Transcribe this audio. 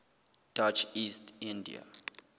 dutch east india